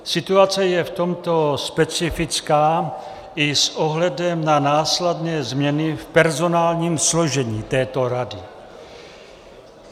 Situace je v tomto specifická i s ohledem na následné změny v personálním složení této rady.